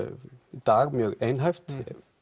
í dag mjög einhæft